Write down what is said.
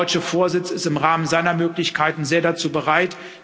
Der deutsche Vorsitz ist im Rahmen seiner Möglichkeiten sehr dazu bereit.